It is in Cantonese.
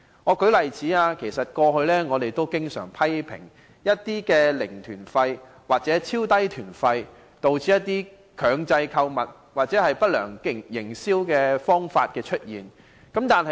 我們過去經常批評，零團費或超低團費導致強制購物或不良營銷手法。